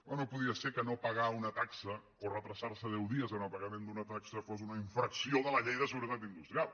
oh no podia ser que no pagar una taxa o retardar se deu dies en el pagament d’una taxa fos una infracció de la llei de seguretat industrial